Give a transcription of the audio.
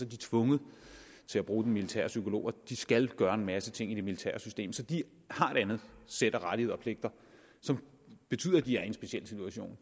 de tvunget til at bruge den militære psykolog og de skal gøre en masse ting i det militære system så de har et andet sæt af rettigheder og pligter som betyder at de er i en speciel situation